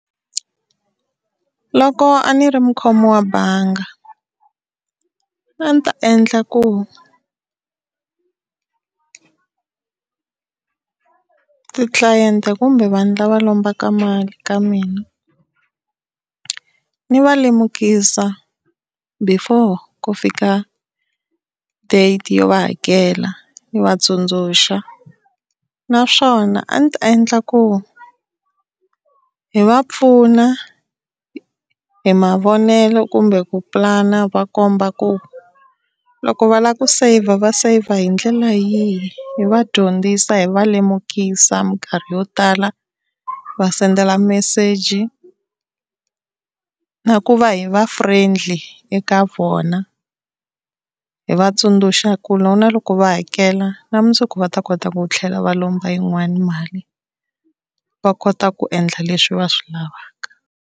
Loko a ni ri mukhomi wa banga a ni ta endla ku ti-client-e kumbe vanhu lava lombaka mali ka mina, ni va lemukisa before ku fika date yo va hakela ni va tsundzuxa. Naswona a ndzi ta endla ku hi va pfuna hi mavonelo kumbe ku pulana hi va komba ku loko va lava ku saver va saver hi ndlela yihi. Hi va dyondzisa hi va lemukisa minkarhi yo tala, va sendela meseji na ku va hi va friendly eka vona hi va tsundzuxa ku na loko na loko va hakela na mundzuku va ta kota ku tlhela va lomba yin'wana mali va kota ku endla leswi va swi lavaka.